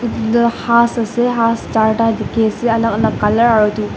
etu has ase has char ta dekhi ase alag alag colour .